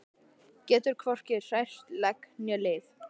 Getur hvorki hrært legg né lið.